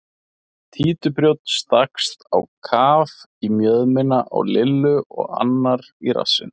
Títuprjónn stakkst á kaf í mjöðmina á Lillu og annar í rassinn.